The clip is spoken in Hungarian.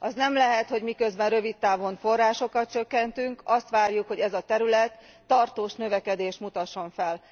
Az nem lehet, hogy miközben rövid távon forrásokat csökkentünk, azt várjuk, hogy ez a terület tartós növekedést mutasson fel.